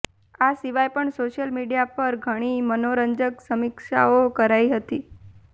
આ સિવાય પણ સોશ્યિલ મીડિયા પર ઘણી મનોરંજક સમીક્ષાઓ કરાઈ હતી